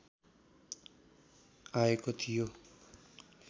आएको थियो